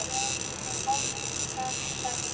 Já, ég haf alltaf sagt það.